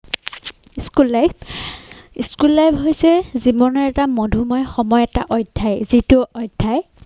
School life, School life হৈছে জীৱনৰ এটা মধুময় সময় এটা অধ্যায় যিটো অধ্যায়